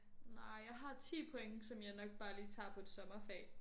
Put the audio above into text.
Nej jeg har 10 point som jeg nok bare lige tager på et sommerfag